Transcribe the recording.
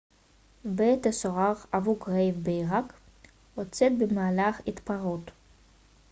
בית הסוהר אבו-גרייב בעירק הוצת במהלך התפרעות